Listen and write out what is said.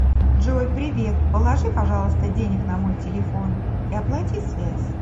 джой привет положи пожалуйста денег на мой телефон и оплати связь